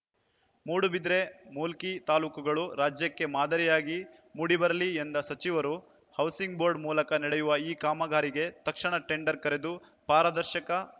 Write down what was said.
ಮೂಡುಬಿದಿರೆ ಮೂಲ್ಕಿ ತಾಲೂಕುಗಳು ರಾಜ್ಯಕ್ಕೆ ಮಾದರಿಯಾಗಿ ಮೂಡಿಬರಲಿ ಎಂದ ಸಚಿವರು ಹೌಸಿಂಗ್ ಬೋರ್ಡ್ ಮೂಲಕ ನಡೆಯುವ ಈ ಕಾಮಗಾರಿಗೆ ತಕ್ಷಣ ಟೆಂಡರ್ ಕರೆದು ಪಾರದರ್ಶಕ